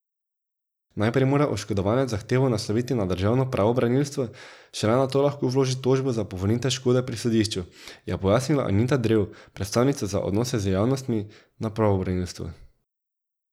Najprej mora oškodovanec zahtevo nasloviti na Državno pravobranilstvo, šele nato lahko vloži tožbo za povrnitev škode pri sodišču, je pojasnila Anita Drev, predstavnica za odnose z javnostmi na pravobranilstvu.